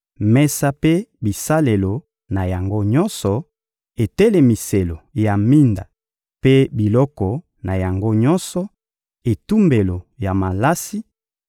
mesa mpe bisalelo na yango nyonso, etelemiselo ya minda mpe biloko na yango nyonso, etumbelo ya malasi,